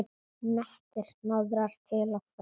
Nettir hnoðrar til og frá.